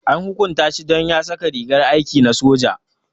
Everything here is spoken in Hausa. An hukunta shi don ya saka rigar aiki na soja.